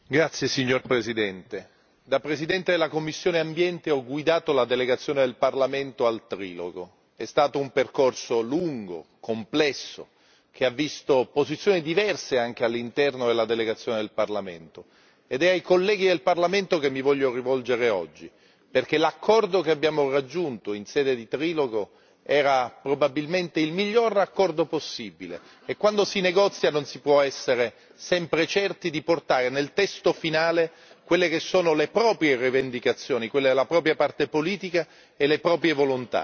Signora Presidente, onorevoli colleghi, da presidente della commissione Ambiente ho guidato la delegazione del Parlamento al trilogo. È stato un percorso lungo, complesso, che ha visto posizioni diverse anche all'interno della delegazione del Parlamento. Ed è ai colleghi del Parlamento che mi voglio rivolgere oggi, perché l'accordo che abbiamo raggiunto in sede di trilogo era probabilmente il miglior accordo possibile, e quando si negozia non si può essere sempre certi di portare nel testo finale quelle che sono le proprie rivendicazioni, quelle della propria parte politica, e le proprie volontà.